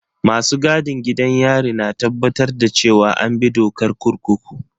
Masu gadin gidan yari na tabbatar da cewa an bi dokar kurkuku.